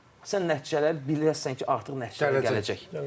Sən nəticələri biləsən ki, artıq nəticələr gələcək.